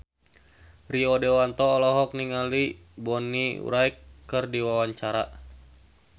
Rio Dewanto olohok ningali Bonnie Wright keur diwawancara